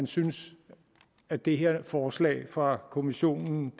synes at det her forslag fra kommissionen